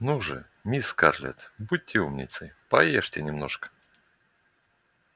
ну же мисс скарлетт будьте умницей поешьте немножко